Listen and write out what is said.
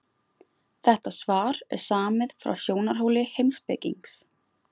Þetta svar er samið frá sjónarhóli heimspekings.